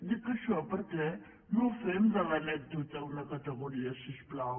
dic això perquè no fem de l’anècdota una categoria si us plau